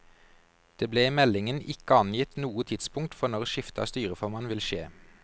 Det ble i meldingen ikke angitt noe tidspunkt for når skifte av styreformann vil skje.